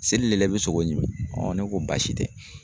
Seli le la i be sogo ɲimi. ne ko baasi tɛ.